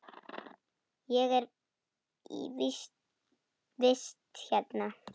Ég er í vist hérna.